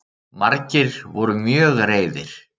Margir voru mjög reiðir